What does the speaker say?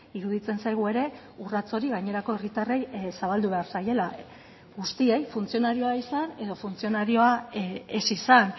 iruditzen zaigu ere urrats hori gainerako herritarrei zabaldu behar zaiela guztiei funtzionarioa izan edo funtzionarioa ez izan